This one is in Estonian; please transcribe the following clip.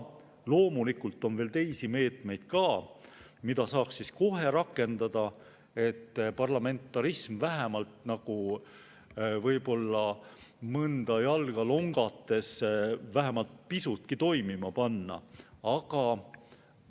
Loomulikult on veel ka teisi meetmeid, mida saaks kohe rakendada, et parlamentarism, võib-olla jalga longates, vähemalt pisutki toimima.